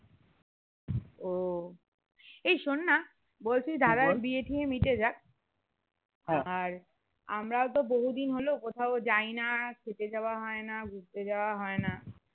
ও এই শোন না বলছি যে দাদার বিয়ে টিয়ে মিটে যাক আর আমরা তো বহু দিন হলো কোথাও যায় না খেতে যাওয়া হয় না ঘুরতে যাওয়া হয় না